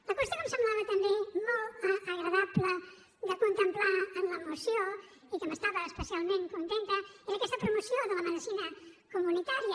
la qüestió que em semblava també molt agradable de contemplar en la moció i que n’estava especialment contenta era aquesta promoció de la medicina comunitària